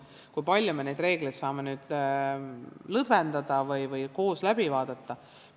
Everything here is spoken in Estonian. Kui palju me neid reegleid saame lõdvendada või koos läbi vaadata?